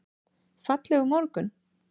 Fallegur morgun!